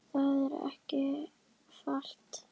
Það er ekki falt